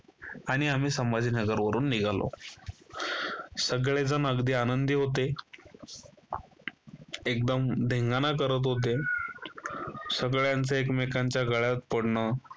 आणि आम्ही संभाजीनगर वरून निघालो. सगळेजण अगदी आनंदी होते. एकदम धिंगाणा करत होते. सगळ्यांचे एकमेकांच्या गळ्यात पडणं